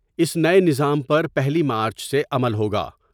اس نئے نظام پر پہلی مارچ سے عمل ہوگا ۔